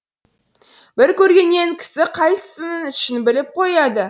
бір көргеннен кісі қайсысының ішін біліп қояды